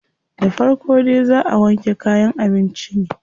Da farko dai zaa a wanke kayan abincin ne.